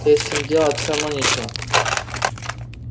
здесь им делать всё равно нечего